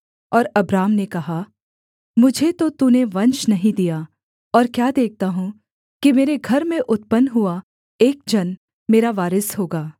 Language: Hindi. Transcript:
और अब्राम ने कहा मुझे तो तूने वंश नहीं दिया और क्या देखता हूँ कि मेरे घर में उत्पन्न हुआ एक जन मेरा वारिस होगा